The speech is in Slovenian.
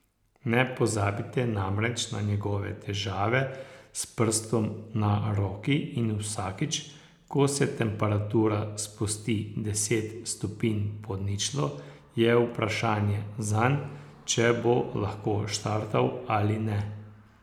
Ne pozabite namreč na njegove težave s prstom na roki in vsakič, ko se temperatura spusti deset stopinj pod ničlo, je vprašanje zanj, če bo lahko štartal ali ne.